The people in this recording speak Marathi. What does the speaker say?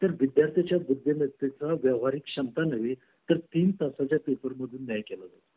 बहुसंख्य राजकारणी भ्रष्ट आहेत देशाच्या हितापेक्षा त्यांच्या वैयक्तिक हितासाठी त्यांच्या शक्तीचा दुरपयोग करतात घोटाळे